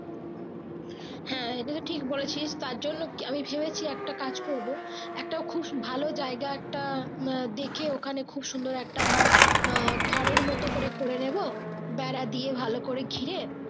হ্যাঁ একদমই ঠিক বলেছি তারজন্য আমি ভেবেছি একটা কাজ করবো একটা ভালো জায়গা একটা মোট দেখে ওখানে খুব সুন্দর একটা ধর ঘরের মতো করে করে নেবো বেড়া দিয়ে ভালো করে ঘিরে।